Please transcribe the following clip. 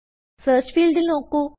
search ഫീൽഡിൽ നോക്കു